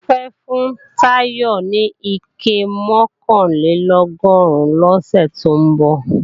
Mofẹ́ fún Táyọ̀ ní ike mọ̀kànlélọ́gọ́rùn lọ́sẹ̀ tó ń bọ̀